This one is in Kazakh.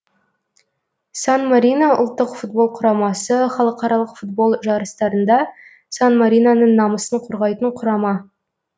сан марино ұлттық футбол құрамасы халықаралық футбол жарыстарында сан мариноның намысын қорғайтын құрама